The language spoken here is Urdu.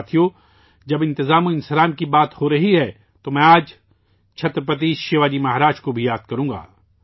ساتھیو، جب انتظام کی بات ہورہی ہے، تو میں آج چھترپتی شیواجی مہاراج کو بھی یاد کروں گا